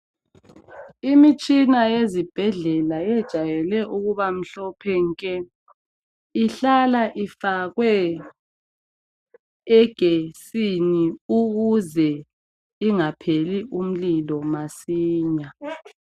Imitshina yezibhedlela yejayele ukuba mhlophe nke ihlala ifakwe igetsini ukuze ingapheli umlilo masinya.